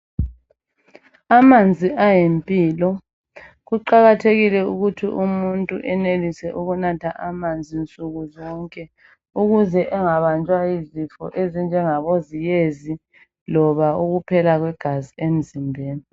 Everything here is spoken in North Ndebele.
Amanzi ayimpilo. Kuqakathekile ukuthi umuntu enelise ukunatha amanzi nsuku zonke. Ukuze angabanjwa yizifo ezinjengeziyezi, , kumbe ukuphela kwegazi emzimbeni.